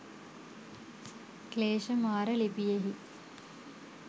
ක්ලේශ මාර ලිපියෙහි